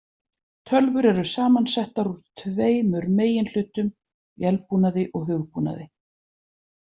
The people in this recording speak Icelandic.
Tölvur eru samansettar úr tveimur meginhlutum, vélbúnaði og hugbúnaði.